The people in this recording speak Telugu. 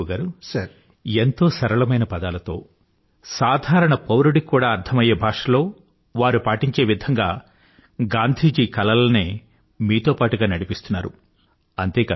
చూడండి రిపూ గారూ ఎంతో సరళమైన పదాలలో సాధారణ పౌరుడు కూడా అర్థమయ్యే భాషలో వారు పాటించే విధంగా గాంధీ గారి కలలనే మీతో పాటుగా నడిపిస్తున్నారు